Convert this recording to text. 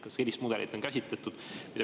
Kas on sellist mudelit käsitletud?